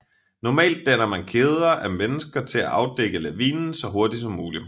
Normalt danner man kæder af mennesker til at afdække lavinen så hurtigt som muligt